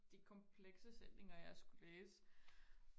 komplekse sætninger jeg skulle læse